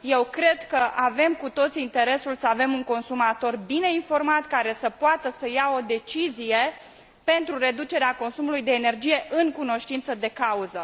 Eu cred că avem cu toții interesul să avem un consumator bine informat, care să poată lua o decizie pentru reducerea consumului de energie în cunoștință de cauză.